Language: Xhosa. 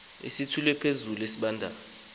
usithule phezulu esibandayo